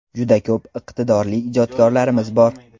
Juda ko‘p iqtidorli ijodkorlarimiz bor.